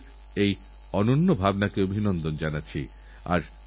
এখন যেমন বর্ষার আনন্দ পাচ্ছি তেমনি বন্যারও খবর আসছে